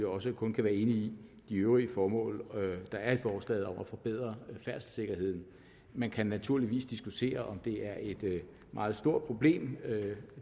også kun kan være enig i de øvrige formål der er i forslaget om at forbedre færdselssikkerheden man kan naturligvis diskutere om det er et meget stort problem